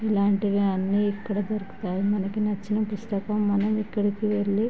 ఇలాంటివి అని ఇక్కడ దొరుకుతాయి. మనకు నచ్చిన పుస్తకం మనం ఇక్కడికి వెళ్ళి --